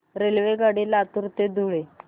रेल्वेगाडी लातूर ते धुळे